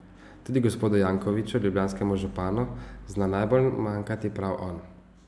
Tudi gospodu Jankoviću, ljubljanskemu županu, zna najbolj manjkati prav on.